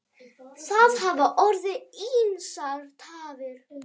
Það hafa orðið ýmsar tafir.